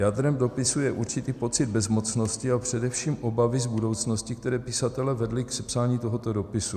Jádrem dopisu je určitý pocit bezmocnosti a především obavy z budoucnosti, které pisatele vedly k sepsání tohoto dopisu.